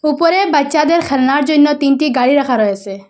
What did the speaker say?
উপরে বাচ্চাদের খেলনার জন্য তিনটি গাড়ি রাখা রয়েসে।